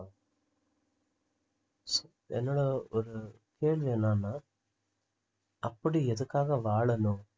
என்னோட ஒரு கேள்வி என்னன்னா அப்படி எதுக்காக வாழணும்